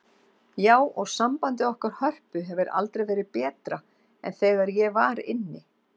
Já, og sambandið okkar Hörpu hefur aldrei verið betra en þegar ég var inni.